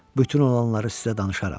Bütün olanları sizə danışaram.